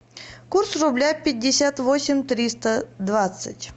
курс рубля пятьдесят восемь триста двадцать